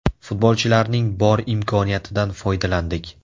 Futbolchilarning bor imkoniyatidan foydalandik.